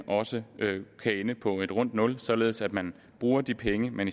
også ende på et rundt nul således at man bruger de penge man